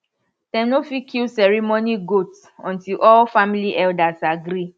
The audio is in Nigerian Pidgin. dem no fit kill ceremony goat until all family elders agree